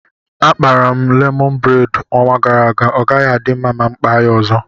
Akpara m lemọn bred ọnwa gara aga ọgaghị adị mma ma mụ kpaa ya ọzọ